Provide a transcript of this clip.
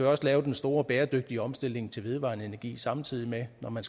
også lave den store bæredygtige omstilling til vedvarende energi samtidig med at man